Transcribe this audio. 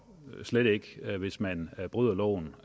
slet hvis man bryder loven